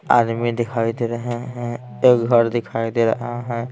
आदमी दिखाई दे रहे हैं एक घर दिखाई दे रहा है।